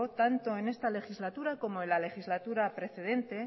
tanto en esta legislatura como en la legislatura precedente